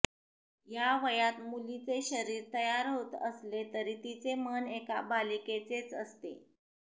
या वयात मुलीचे शरीर तयार होत असले तरी तिचे मन एका बालिकेचेच असते